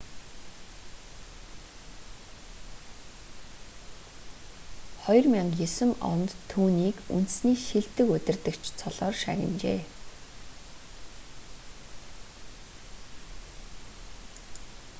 2009 онд түүнийг үндэсний шилдэг удирдагч цолоор шагнажээ